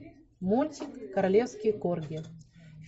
мультик королевский корги